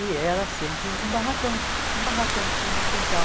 E era sempre um barracão, um barracão de fundo de quintal.